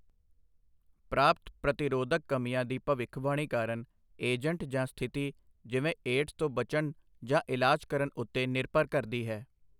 ਪ੍ਰਾਪਤ ਪ੍ਰਤੀਰੋਧਕ ਕਮੀਆਂ ਦੀ ਭਵਿੱਖਬਾਣੀ ਕਾਰਨ ਏਜੰਟ ਜਾਂ ਸਥਿਤੀ ਜਿਵੇਂ ਏਡਜ਼ ਤੋਂ ਬਚਣ ਜਾਂ ਇਲਾਜ ਕਰਨ ਉੱਤੇ ਨਿਰਭਰ ਕਰਦੀ ਹੈ।